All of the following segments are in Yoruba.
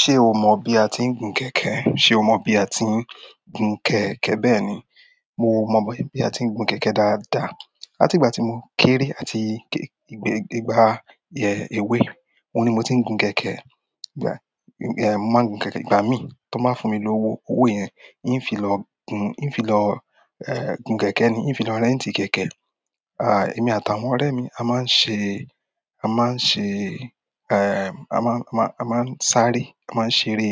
Ṣé o mọ bí a ti ń gun kẹ̀kẹ́? Ṣé o mọ bí a ti ń gun kẹ̀kẹ́? Bẹ́ẹ̀ ni, mo mọn bí a ti ń gun kẹ̀kẹ́ dáadáa. Látìgbà tí mo kéré àti ìgbà èwe, òun ni mo ti ń gun kẹ̀kẹ́. Ẹ̀, mo máa ń gun kẹ̀kẹ́ ìgbà mí tí wọ́n bá fún mi lówo. Owó yẹn n fi lọ gun-- ń fi lọ, ẹ́, gun kẹ̀kẹ́ ni, ń fi lọ rentì kẹ̀kẹ́. À, èmi àtàwọn ọ̀rẹ́ mi a máa ń ṣe, a má a ṣe, ẹ́ẹ̀, a má, a má, a má a sáré, a má a ṣe eré,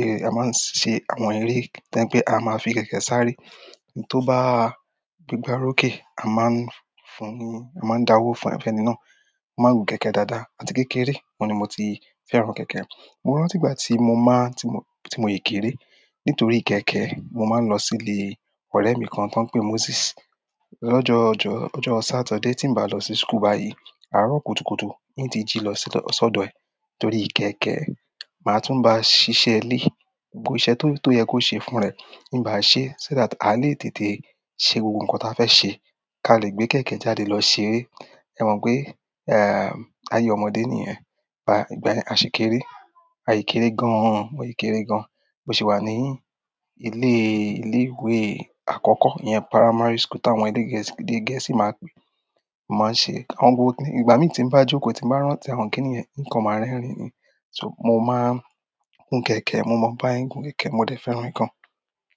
ẹ́ẹ̀, a má a ṣe àwọn eré tó je pẹ́, a má a fi kẹ̀kẹ́ sáré. Ohun tó bá gbegbá olókè, a má a ń fún un, a má a ń dá owó fún ẹni náà. A máa ń gun kẹ̀kẹ́ dáadáa àti kékeré, òun ni mo ti fẹ́ran kẹ̀kẹ́. Mo rántí ìgbà tí mo má a-- tí mo, tí mo yi kéré. Nítorí kẹ̀kẹ́, mo máa ń lọ sí ilé ọ̀rẹ́ mi kan tó ń pè Moses. Lọ́jọ́ ọjọ́, lọ́jọ́ saturday tí n bá lọ sí school báyìí, àárọ̀ kùtùkùtù, n tí jí lọ sọ́dọ̀ ẹ̀ nítorí kẹ̀kẹ́. Màá tún bá ṣiṣẹ́ ilé. Gbogbo iṣẹ́ tó, tó yẹ kó ṣe fún rẹ̀, n bá a ṣe. So that, a le tètè se gbogbo nkan ta fe se, ka a le gbe kẹ̀kẹ́ jáde lo ṣeré. Ẹ̀ mọ̀ pé, ẹ́ẹ̀, ayé ọmọdé nìyẹn. A ìgbà yẹn a ṣi kéré. A yì kéré gan an, a yi kéré gan. Mo si wa ni ile ile ìwé akoko iyen primary school ti àwọn èdè gẹ̀ẹ́sì maa n pe. A máa ń ṣe àwọn gbogbo kini-- ìgbà mí tí n bá jókòó, tí n bá rántí àwọn kíní yẹn, nǹkan máa ń rẹ́rìn ni. So, mo máa ń gun kẹ̀kẹ́, mo mọ́ bí won se gun kẹ̀kẹ́, mo dẹ̀ fẹ́ran e gan.